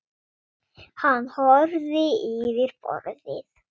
Hann horfði yfir borðið.